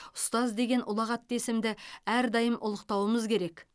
ұстаз деген ұлағатты есімді әрдайым ұлықтауымыз керек